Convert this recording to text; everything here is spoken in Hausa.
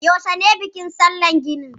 Yaushe ne bikin sallar ganin?